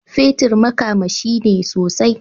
Fetir makamashi ne sosai.